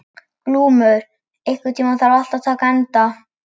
Glúmur, einhvern tímann þarf allt að taka enda.